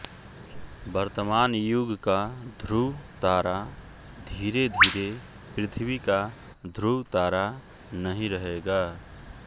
वर्तमान युग का ध्रुव तारा धीरेधीरे पृथ्वी का ध्रुव तारा नहीं रहेगा